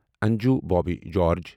Anju Bobby George